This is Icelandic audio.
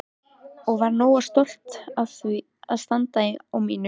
Og var nógu stolt til að standa á mínu.